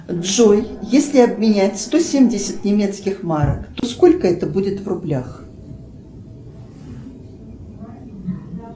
джой если обменять сто семьдесят немецких марок то сколько это будет в рублях